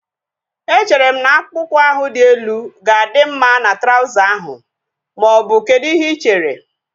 Echere m na akpụkpọ ụkwụ ahu dị elu ga-adị mma na trauza ahu maọbụ kedụ ihe ị chere?